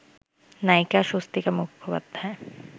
নায়িকা স্বস্তিকা মুখোপাধ্যায়